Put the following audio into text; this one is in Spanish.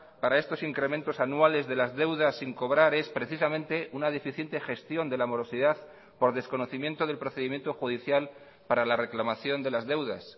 para estos incrementos anuales de las deudas sin cobrar es precisamente una deficiente gestión de la morosidad por desconocimiento del procedimiento judicial para la reclamación de las deudas